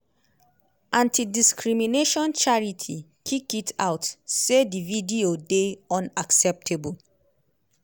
anti-discrimination charity kick it out say di video dey"unacceptable".